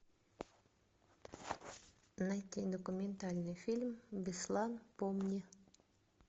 найти документальный фильм беслан помни